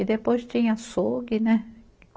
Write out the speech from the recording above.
E depois tinha açougue, né?